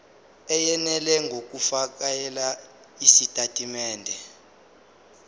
eyenele ngokufakela izitatimende